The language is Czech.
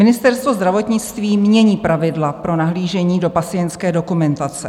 Ministerstvo zdravotnictví mění pravidla pro nahlížení do pacientské dokumentace.